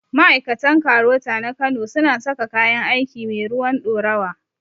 Ma'aikatan KAROTA na kano su na saka kayan aiki mai ruwan ɗorawa